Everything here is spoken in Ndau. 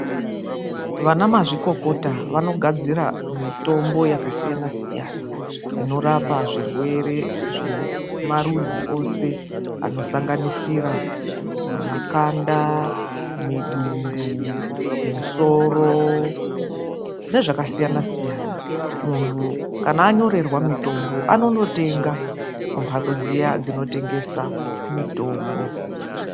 Vanamazvikokota vanogadzira mitombo yakasiyana siyana, inorapa zvirwere zvemarudzi eshe anosanganisira makanda, mundani, musoro nezvakasiyana siyana. Munthu kana anyorerwa mitombo anondotenga kumhatso dziya dzinotengesa mitombo.